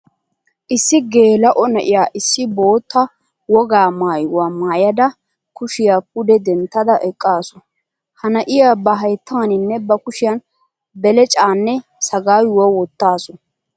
Issi geelao na'iyaa issi bootta wogaa maayiwaa maayada kushiya pude denttada eqqasu. Ha na'iyaa ba hayttanine ba kushiyan beleccaane sagaayuwaa wottasu.